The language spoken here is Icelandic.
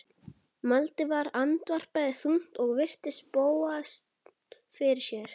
Valdimar andvarpaði þungt og virti Bóas fyrir sér.